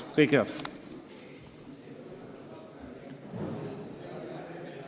Kõike head!